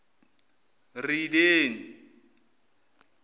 rideni